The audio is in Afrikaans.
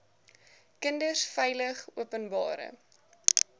kinders veilig openbare